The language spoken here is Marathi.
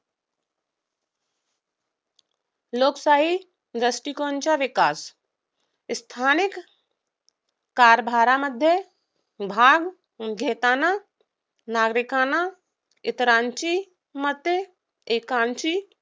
लोकशाही दृष्टिकोनाचा विकास स्थानिक कारभारामध्ये भाग घेताना नागरिकांना इतरांची मते एकांची